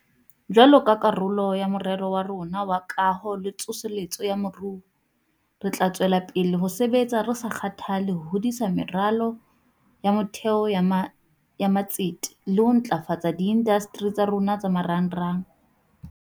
Jwalo ka karolo ya Morero wa rona wa Kaho le Tsosoloso ya Moruo, re tla tswela pele ho sebetsa re sa kgathale ho hodisa meralo ya motheo ya matsete le ho ntlafatsa diindasteri tsa rona tsa marangrang.